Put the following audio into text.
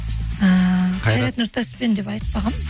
ііі қайрат нұртаспен деп айтпағанмын